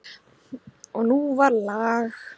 Og nú var lag.